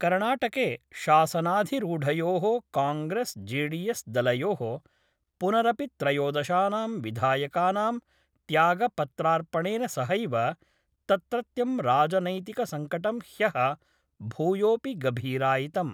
कर्णाटके शासनाधिरूढयो: कॉग्रेस् जेडीएस् दलयो: पुनरपित्रयोदशानां विधायकानां त्यागपत्रार्पणेन सहैव तत्रत्यं राजनैतिकसंकटं ह्यः भूयोपि गभीरायितम्।